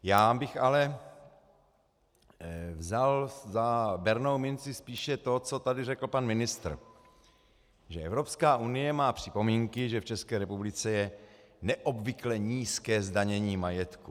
Já bych ale vzal za bernou minci spíše to, co tady řekl pan ministr, že Evropská unie má připomínky, že v České republice je neobvykle nízké zdanění majetku.